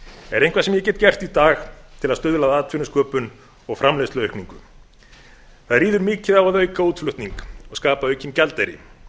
er eitthvað sem ég get gert í dag til að stuðla að atvinnusköpun og framleiðsluaukningu það ríður mikið á að auka útflutning og skapa aukinn gjaldeyri þess